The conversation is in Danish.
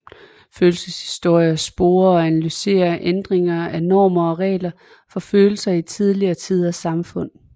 Følelseshistorie sporer og analyserer ændringer af normer og regler for følelser i tidligere tiders samfund